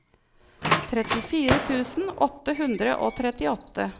trettifire tusen åtte hundre og trettiåtte